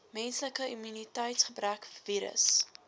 menslike immuniteitsgebrek virus